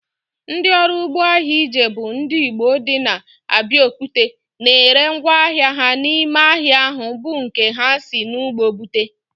Ndị ọrụ ugbo ahịa Ijebu ndị Igbo dị na Abiokuta na ere ngwá ahịa ha n'ime ahịa ahu bụ nke ha si n'ugbo bute